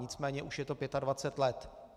Nicméně už je to 25 let.